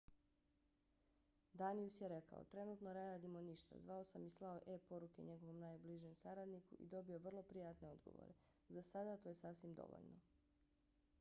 danius je rekao: trenutno ne radimo ništa. zvao sam i slao e-poruke njegovom najbližem saradniku i dobio vrlo prijatne odgovore. za sada to je sasvim dovoljno.